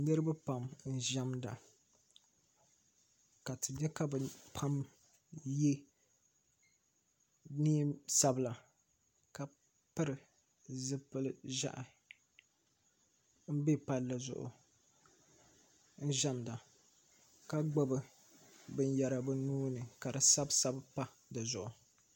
Niriba pam ʒɛmda ka ti nyɛ ka bi pam yɛ niɛn sabila ka piri zipili ʒiɛhi n bɛ palli zuɣu n ʒɛmda ka gbubi bin yara bi nuu ni ka di sabi sabi pa di zuɣu.